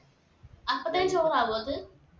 അപ്പൊ തന്നെ ചോറാവോ അത്